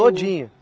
Todinho?